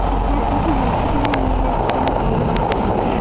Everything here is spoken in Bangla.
হ্যাঁ আজকে Hospital -এ নিয়ে গেছিলাম ভালো আছে